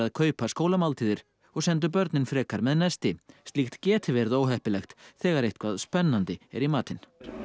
kaupa skólamáltíðir og sendu börnin frekar með nesti slíkt geti verið óheppilegt þegar eitthvað spennandi er í matinn